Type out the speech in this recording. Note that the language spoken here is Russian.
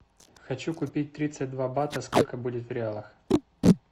хочу купить тридцать два бата сколько будет в реалах